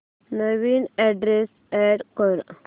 नवीन address add कर